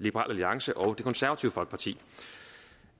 liberal alliance og det konservative folkeparti